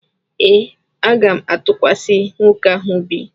Ee, aga m atụkwasị nwoke ahụ obi.